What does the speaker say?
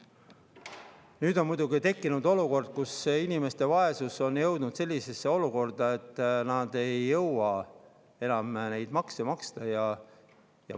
Nüüd on tekkinud olukord, kus inimeste vaesus on jõudnud selleni, et nad ei jõua enam neid makse maksta.